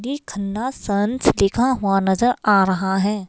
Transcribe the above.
Khanna sons लिखा हुआ नजर आ रहा है।